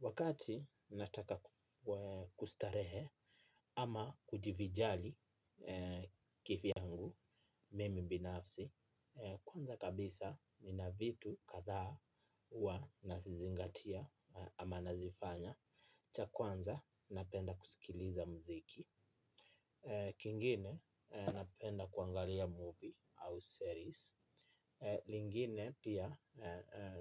Wakati nataka kustarehe ama kujivijali kivyangu mimi binafsi, kwanza kabisa ni na vitu kadha huwa nazizingatia ama nazifanya. Ya kwanza napenda kuskiliza musiki ingine napenda kuangalia movie au stories. Lingine pia